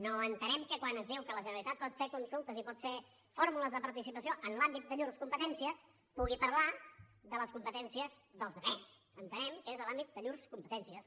no entenem que quan es diu que la generalitat pot fer consultes i pot fer fórmules de participació en l’àmbit de llurs competències pugui parlar de les competències dels altres entenem que és de l’àmbit de llurs competències